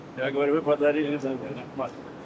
Mən deyirəm, bizə bəxş eləyib Vətən.